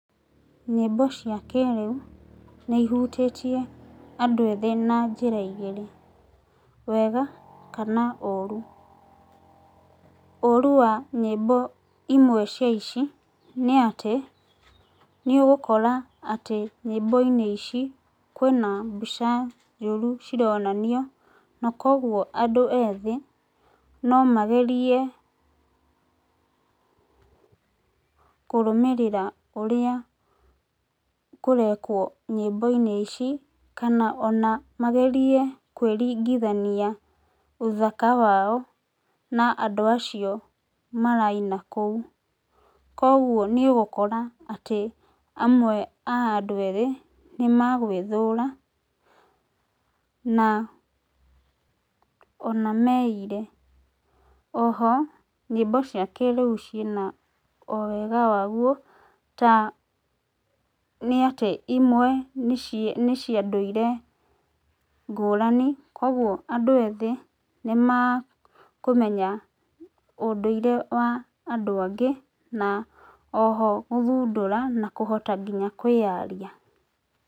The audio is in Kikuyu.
Nyĩmbo cia kĩrĩu nĩ ihutĩtie andũ ethĩ na njĩra igĩrĩ, wega kana ũru. Ũru wa nyĩmbo imwe cia ici nĩatĩ nĩ ũgũkora atĩ nyĩmbo-inĩ ici kwĩna mbica njũru cironanio na koguo andũ ethĩ no magerie kũrũmĩrĩra ũrĩa kũrekwo nyĩmbo-inĩ ici. Kana ona magerie kwĩringithania ũthaka wao na andũ acio maraina kũu. Koguo nĩ ũgũkora atĩ amwe a andũ ethĩ nĩ magwĩthũra na ona meire. Oho nyĩmbo cia kĩrĩu ciĩna o wega waguo ta nĩatĩ imwe nĩ cia ndũire ngũrani, kuoguo andũ ethĩ nĩ makũmenya ũndũire wa andũ angĩ na oho gũthundũra na kũhota nginya kwĩyaria.